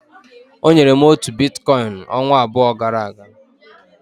O nyere m otu Biticoin ọnwa abụọ gara aga.